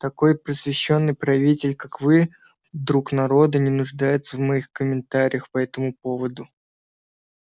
такой просвещённый правитель как вы друг народа не нуждается в моих комментариях по этому поводу